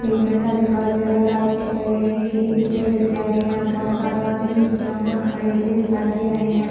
झंडा दिखाई दे रहा है लाइट दिखाई दे रहा है केले पड़े दिखाई दे रहा है बहुत सारे आदमी ग्राउंड मै खड़े हुए दिखाई दे रहे है।